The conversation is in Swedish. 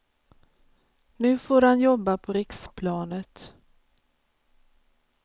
Nu får han jobba på riksplanet.